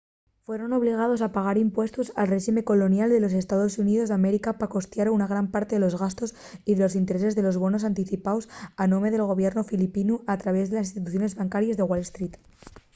fueron obligaos a pagar impuestos al réxime colonial de los estaos xuníos d’américa pa costiar una gran parte de los gastos y de los intereses de los bonos anticipaos a nome del gobiernu filipinu al traviés d’instituciones bancaries de wall street